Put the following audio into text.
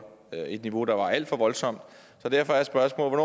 et niveau der var alt for voldsomt så derfor er spørgsmålet